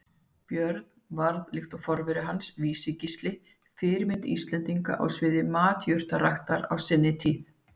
Björn varð, líkt og forveri hans Vísi-Gísli, fyrirmynd Íslendinga á sviði matjurtaræktar á sinni tíð.